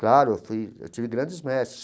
Claro, eu fui eu tive grandes mestres.